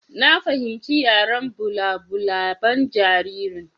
Na fahimci yaren balabulaban jaririn.